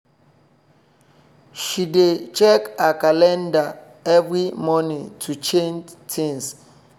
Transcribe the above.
she dey check her calendar every morning to change things